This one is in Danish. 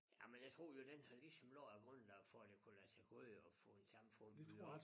Jamen jeg tror jo den har ligesom lagt æ grundlag for at det kunne lade sig gøre at få et samfund bygget op